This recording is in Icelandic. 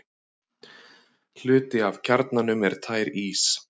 hluti af kjarnanum er tær ís